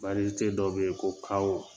dɔ bɛ yen ko kawo